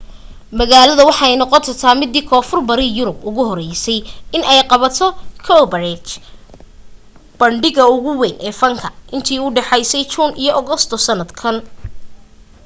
magalada waxa ay noqon doonta midii koonfur bari yurub ugu horeyse in ay qabato cowparade bandhiga ugu weyn ee fanka inta udhaxeysa june iyo august sanadkan